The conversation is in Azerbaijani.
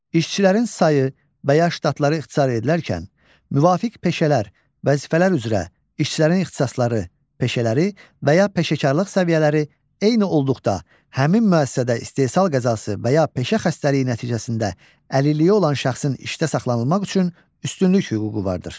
İşçilərin sayı və ya ştatları ixtisar edilərkən, müvafiq peşələr, vəzifələr üzrə işçilərin ixtisasları, peşələri və ya peşəkarlıq səviyyələri eyni olduqda, həmin müəssisədə istehsal qəzası və ya peşə xəstəliyi nəticəsində əlilliyi olan şəxsin işdə saxlanılmaq üçün üstünlük hüququ vardır.